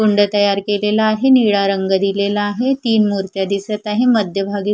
गोंडा तयार केलेला आहे निळा रंग दिलेला आहे तीन मूर्त्या दिसत आहे मध्यभागी--